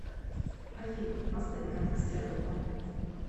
афина поставь гангстерлова